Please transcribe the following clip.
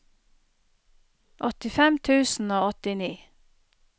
åttifem tusen og åttini